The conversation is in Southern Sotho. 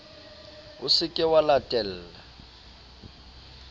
o se ke wa latella